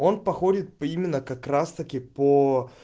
он походит по именно как раз таки по